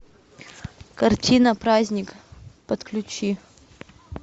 картина праздник подключи